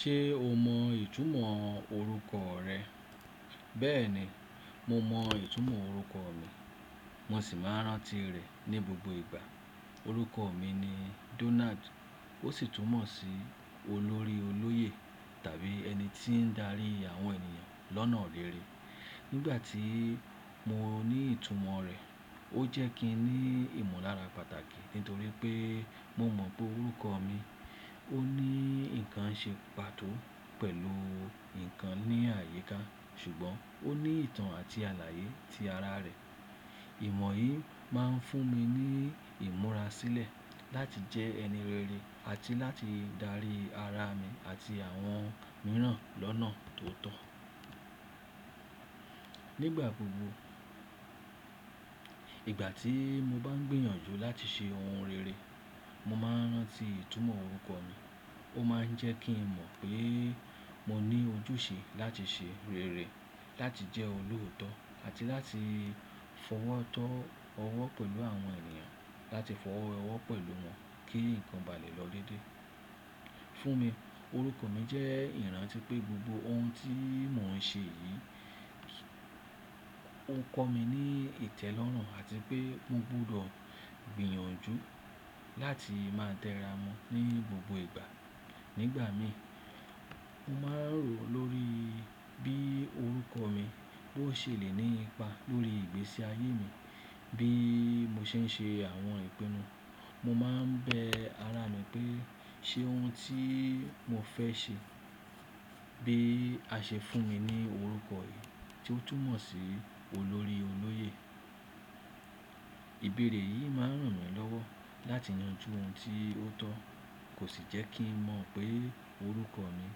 Ṣé o mọ ìtumọ̀ orúkọ rẹ? Bẹ́ẹ̀ni, mo mọ ìtumọ̀ orúkọ mi, mo sì máa ń rántí rẹ̀ ní gbogbo ìgbà. Orúkọ mi ni Donald, ó sì túmọ̀ sí olórí olóyè tàbí ẹni tí ń darí àwọn ènìyàn lọ́nà rere. Nígbà tí mo ní ìtumọ̀ rẹ̀, ó jẹ́ kí n ní ìmolára pàtàkì nítorí pé mo mọ̀ pé orúkọ mi ó ní nǹkan ṣe pàtó pẹ̀lú ǹkan ní àyíká ṣùgbọ́n ó ní ìtàn àti àlàyé ti ara rẹ̀. Ìmọ̀ yìí máa ń fún mi ní ìmúra sílẹ̀ láti jẹ ẹni rere àti láti darí ara mi àti àwọn mìíràn lọ́nà tó tọ́ nígbà gbogbo. Ìgbà tí mo bá ń gbìyànjú láti ṣe ohun rere, mo máa ń rántí ìtumọ̀ orúkọ mi. Ó máa ń jẹ́ kí n mọ̀ pé mo ní ojúṣe láti ṣe rere, láti jẹ́ olòótọ́ àti láti fọwọ́ tọ́ ọwọ́ pẹ̀lú àwọn ènìyàn, láti fọwọ́ wẹwọ̀ pẹ̀lú wọn kí ǹkan ba lè lọ déédéé. Fún mi, orúkọ mi jẹ́ ìrántí pé gbogbo ohun tí mò ń ṣe yìí, ó ń kọ́ mi ní ìtẹ́lọ́rùn àti pé mo gbọdọ̀ gbìyànjú láti máa tẹra mọ́ ní gbogbo ìgbà. Nígbà mii, mo máa ń rò lórí bí orúkọ mi ó ṣe lè ní ipa lórí ìgbésí ayé mi. Bí mo ṣe ń ṣe àwọn ìpinnu, mo máa ń bẹ ara mi pé ṣé ohun tí mo fẹ́ ṣe bí àṣẹ fún mi ní orúkọ yìí tí ó túmọ̀ sí olórí olóyè. Ìbéèrè yìí máa ń ràn mí lọ́wọ́ láti yanjú ohun tí ó tọ́ kò sì jẹ́ kí n mọ̀ pé orúkọ mi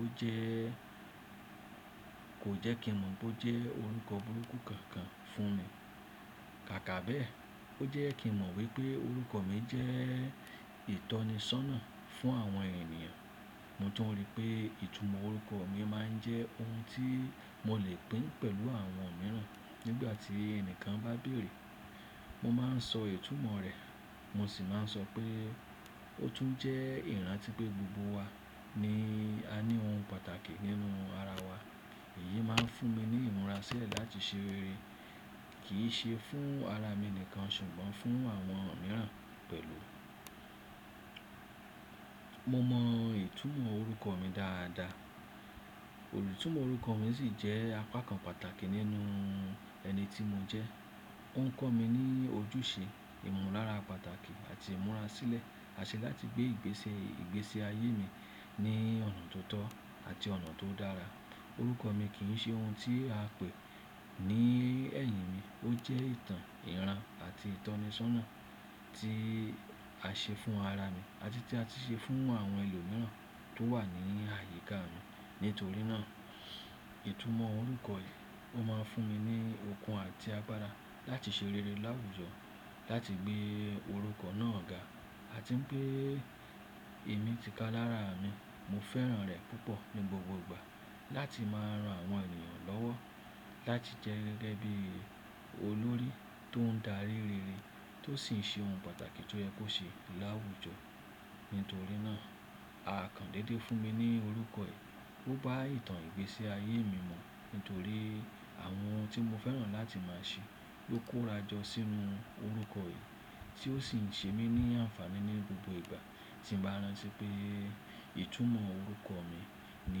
ó jẹ́, kò jẹ́ kí n mọ̀ pé ó jẹ́ orúkọ burúkú kankan fún mi. Kàkà bẹ̀, ó jẹ́ kí n mọ̀ wípé orúkọ mi jẹ́ ìtọ́nisọ́nà fún àwọn ènìyàn. Mo tun rii pé ìtumọ̀ orúkọ mi máa ń jẹ́ ohun tí mo lè pín pẹ̀lú àwọn mìíràn. Nígbà tí ẹni kan bá bèèrè, mo máa ń sọ ìtumọ̀ rẹ̀, mo sì máa ń sọ pé ó tún jẹ́ ìrántí pé gbogbo wa ni a ní ohun pàtàkì nínú ara wa. Èyí máa ń fún mi ní ìmúra sílẹ̀ láti ṣe rere kì í ṣe fún ara mi nìkan ṣùgbọ́n fún àwọn mìíràn pẹ̀lú. Mo mọ ìtumọ̀ orúkọ mi dáadáa, olùtúmọ̀ orúkọ mi sì jẹ́ apá kan pàtàkì nínú ẹni tí mo jẹ́. Ó ń kọ́ mi ní ojúṣe, ìmùlára pàtàkì àti ìmúra sílẹ̀ àṣẹ láti gbé ìgbésí ayé mi ní ọ̀nà tó tọ́ àti ọ̀nà tó dára. Orúkọ mi kì í ṣe ohun tí a pè ní ẹ̀yìn mi, ó jẹ́ ìtàn, ìran àti ìtọ́nisọ́nà tí a ṣe fún ara mi àti tí a ti ṣe fún àwọn ẹlòmíràn tó wà ní àyíká mi. Nítorí náà, ìtumọ̀ orúkọ yìí ó máa ń fún mi ní okun àti agbára láti ṣe rere láwùjọ, láti gbé orúkọ náà ga àti pé èmi ti ka lára mi. Mo fẹ́ràn rẹ̀ púpọ̀ ní gbogbo ìgbà láti máa rán àwọn ènìyàn lọ́wọ́ láti jẹ́ gẹ́gẹ́ bí olórí tó ń darí rere tó sì ń ṣe ohun pàtàkì tó yẹ kó ṣe láwùjọ. Nítorí náà, à kàn dédé fún mi ní orúkọ yìí. Ó bá ìtàn ìgbésí ayé mi mu nítorí àwọn ohun tí mo fẹ́ràn láti máa ṣe ló kórajọ sínú orúkọ yìí tí ó sì ń ṣe mí ní àǹfàní ní gbogbo ìgbà tí n bá ń rántí pé ìtumọ̀ orúkọ mi ni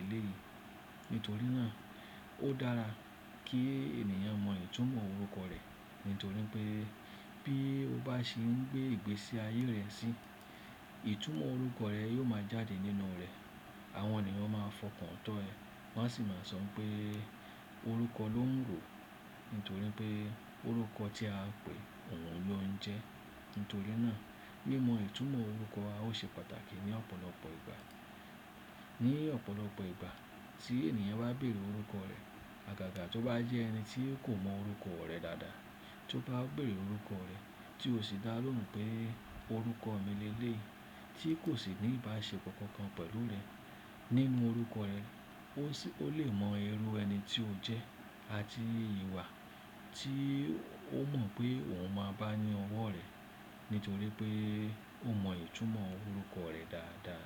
èléyìí. Nítorí náà, ó dára kí ènìyàn mọ ìtumọ̀ orúkọ rẹ̀ nítorí pé bí ó bá se ń gbé ìgbésí ayé rẹ̀ sí, ìtumọ̀ orúkọ rẹ̀ yóò máa jáde nínú rẹ̀. Àwọn ènìyàn máa fọkàn tán ẹ, wọ́n á sì máa sọ npé orúkọ ló ń rò nítorí pé orúkọ tí a pè, òun ló ń jẹ́. Nítorí náà, mímọ ìtumọ̀ orúkọ wá o ṣe pàtàkì ní ọ̀pọ̀lọpọ̀ ìgbà. Ní ọ̀pọ̀lọpọ̀ ìgbà tí ènìyàn bá bèèrè orúkọ rẹ̀, àgàgà tó bá jẹ́ ẹni tí kò mọ orúkọ rẹ̀ dáadáa, tó bá bèèrè orúkọ rẹ̀ tí ó sì dá lóhùn pé orúkọ mi lelé, tí kò sì ní ìbáṣe kankan pẹ̀lú rẹ̀, nínú orúkọ rẹ̀, ó lè mọ irú ẹni tí ó jẹ́ àti ìwà tí ó mọ̀ pé òun máa bá ní ọwọ́ rẹ̀ nítorí pé ó mọ ìtumọ̀ orúkọ rẹ̀ dáadáa.